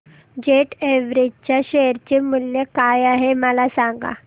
jet Airways च्या share चे मूल्य काय आहे मला सांगा